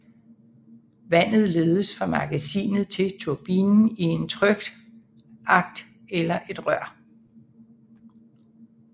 Vandet ledes fra magasinet til turbinen i en trykskakt eller et rør